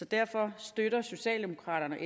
derfor støtter socialdemokraterne